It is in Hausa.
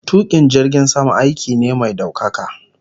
Tukin jirgin sama aiki ne mai daukaka